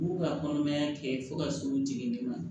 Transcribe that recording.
K'u ka kɔnɔmaya kɛ fo ka s'u jigini ma